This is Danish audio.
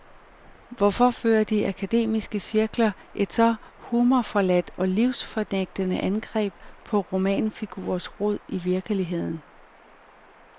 Hvorfor fører de akademiske cirkler et så humorforladt og livsfornægtende angreb på romanfigurens rod i virkeligheden.